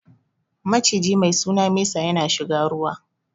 Maciji mai suna mesa ya na shiga ruwa